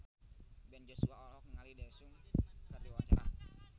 Ben Joshua olohok ningali Daesung keur diwawancara